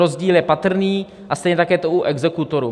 Rozdíl je patrný a stejně tak je to u exekutorů.